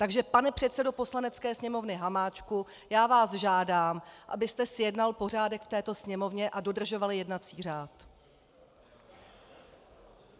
Takže pane předsedo Poslanecké sněmovny Hamáčku, já vás žádám, abyste zjednal pořádek v této Sněmovně a dodržoval jednací řád!